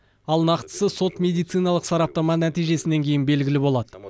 ал нақтысы сот медициналық сараптама нәтижесінен кейін белгілі болады